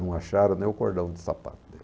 Não acharam nem o cordão de sapato dele.